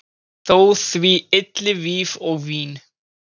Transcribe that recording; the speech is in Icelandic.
Þó því ylli víf og vín